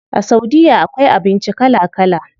A saudiya akwai abinci kala kala.